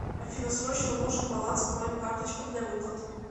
афина срочно нужен баланс по моим карточкам для выплат